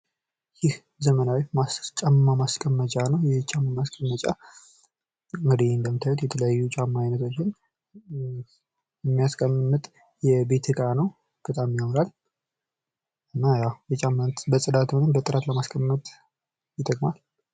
ይህ ዘመናዊ ጫማ ማሥቀመጫ ነው። ይህ ጫማ ማስቀመጫ እንግዲህ የተለያዩ የጫማ አይነቶችን የሚያስቀምጥ የቤት እቃ ነው። በጣም ያምራል። እና ያው በጥራትም ሆነ በጽዳት ለማስቀመጥ ይጠቅማል።